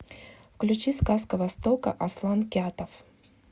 включи сказка востока аслан кятов